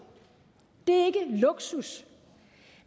det er luksus